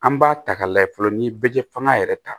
An b'a ta k'a lajɛ fɔlɔ ni ye bɛ fanga yɛrɛ ta